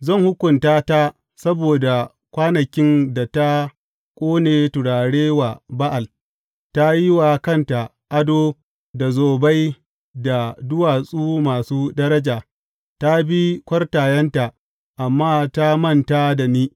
Zan hukunta ta saboda kwanakin da ta ƙone turare wa Ba’al; ta yi wa kanta ado da zobai da duwatsu masu daraja, ta bi kwartayenta, amma ta manta da ni,